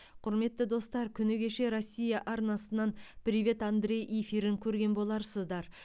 құрметті достар күні кеше россия арнасынан привет андреи эфирін көрген боларсыздар